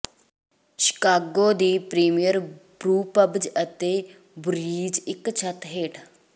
Chicago ਦੀ premier brewpubs ਅਤੇ breweries ਇਕ ਛੱਤ ਹੇਠ